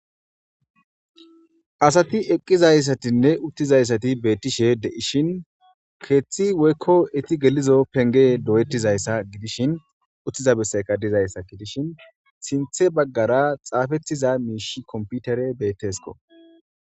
Asati eqqizayssatinne uttizayssati beettishe de7ishin keeththi woykko iti gelizo penge do7ettizayssa gidishin uttiza besseyka dizayssa ki dishin sinthe baggara xaafettiza miish komputere beettesko.